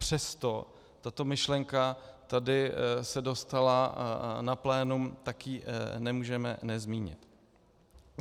Přesto tato myšlenka tady se dostala na plénum, tak ji nemůžeme nezmínit.